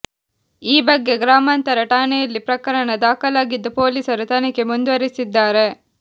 ಈ ಬಗ್ಗೆ ಗ್ರಾಮಾಂತರ ಠಾಣೆಯಲ್ಲಿ ಪ್ರಕರಣ ದಾಖಲಾಗಿದ್ದು ಪೊಲೀಸರು ತನಿಖೆ ಮುಂದುವರಿಸಿದ್ದಾರೆ